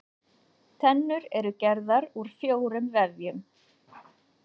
Tennur eru gerðar úr fjórum vefjum.